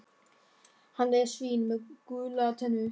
Hann er svín með gular tennur.